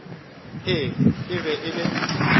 ee e be e le